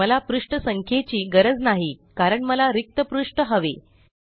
मला पृष्ठ संख्येची गरज नाही कारण मला रिक्त पृष्ठ हवे